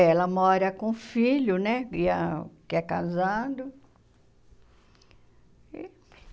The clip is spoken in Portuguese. É, ela mora com o filho, né e a , que é casado.